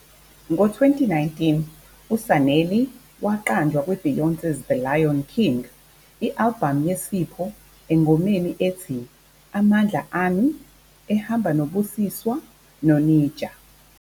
Ngo-2019, uSanelly waqanjwa kwi-Beyonce's The Lion King- I-albhamu yeSipho engomeni ethi "Amandla Ami" ehamba noBusiswa noNija.